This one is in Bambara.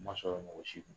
Ma sɔrɔ mɔgɔ si ma